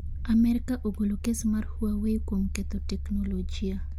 Amerka ogolo kes mar Huawei kuom ketho teknolojia", j